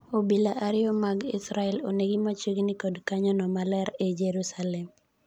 Obila ariyo mag Israel onegi machiegni kod kanyono maler ei Jerusalem.